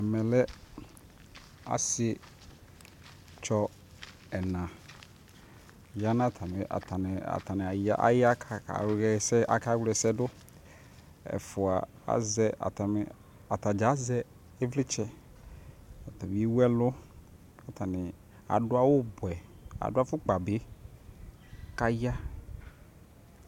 ɛmɛ lɛ asii tsɔ ɛna atani aya kʋ aka wlɛsɛ dʋ ɛƒʋa azɛ, atagya azɛ ivlitsɛ, atani ɛwʋ ɛlʋ kʋ atani adʋ awʋ bʋɛ adʋ aƒʋkpa bi kʋ aya